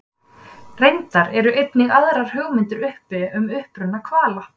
reyndar eru einnig aðrar hugmyndir uppi um uppruna hvala